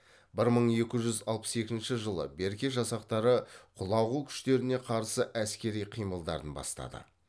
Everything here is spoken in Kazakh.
бір мың екі жүз алпыс екінші жылы берке жасақтары құлағу күштеріне қарсы әскери қимылдарын бастады